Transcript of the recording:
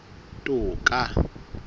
toka